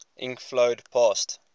ink flowed past